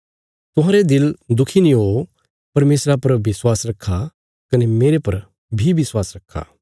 तुहांरे दिल दुखी नीं हो परमेशरा पर विश्वास रखा कने मेरे पर बी विश्वास रखा